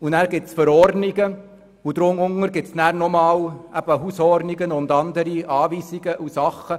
Danach gibt es Verordnungen und darunter gibt es dann eben noch Hausordnungen und andere Weisungen.